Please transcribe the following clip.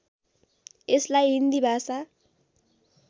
यसलाई हिन्दी भाषा